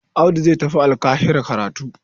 Audu zai tafi Alƙahira karatu.